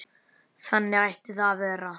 Þannig ætti það að vera.